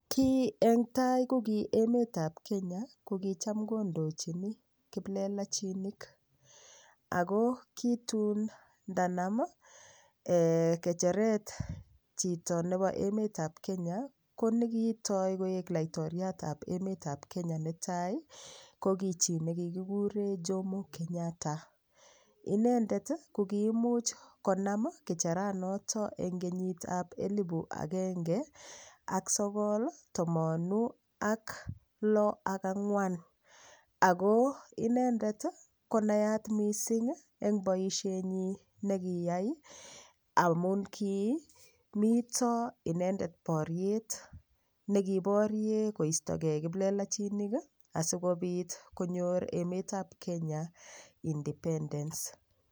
Ki eng' tai ko ki emetab Kenya ko kicham kondochini kiplelachinik ako kitun ndanam kecheret chito nebo emetab Kenya ko nekitoi koek laitoriatab emetab Kenya netai ko ki chi nekikure Jomo Kenyatta inendet ko kiimuch konam kecheranoto eng' kenyitab elibu agenge ak sogol tomonu ak loo ak ang'wan ako inendet konayat mising' eng' boishenyi nekiyai amun kimito inendet boriet nekiborie koistogei kiplelachinik asikobit konyor emetab Kenya independence